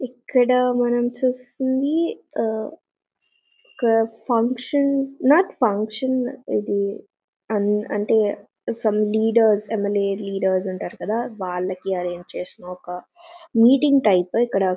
ఇక్కడ మనము చుస్తున్నది. ఆ ఒక ఫంక్షన్ నాట్ ఫంక్షన్ ఇది అండ్ అంటే సమ్ లీడర్స్ ఎమ్మెల్యే లీడర్స్ ఉంటారు కదా వాళ్ళకు అరేంజ్ చేసిన ఒక మీటింగ్ టైప్ ఇక్కడ--